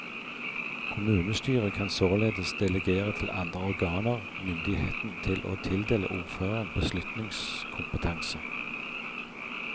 Kommunestyret kan således delegere til andre organer myndigheten til å tildele ordføreren beslutningskompetanse.